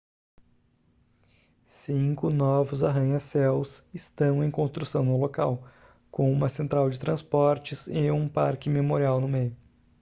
cinco novos arranha-céus estão em construção no local com uma central de transportes e um parque memorial no meio